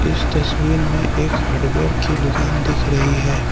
इस तस्वीर में एक हार्डवेयर की दुकान दिख रही है।